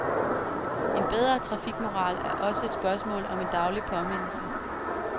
En bedre trafikmoral er også et spørgsmål om en daglig påmindelse.